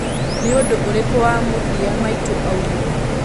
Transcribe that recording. nĩ ũndũ ũrĩkũ wa mũthĩa maĩtũ aũngĩre